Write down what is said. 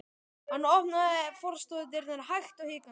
Hann opnaði forstofudyrnar hægt og hikandi.